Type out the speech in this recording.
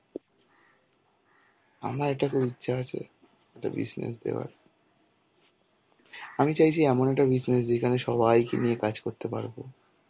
আমার এটা খুব ইচ্ছা আছে একটা business দেওয়ার. আমি চাইছি এমন একটা business যেখানে সবাইকে নিয়ে কাজ করতে পারবো.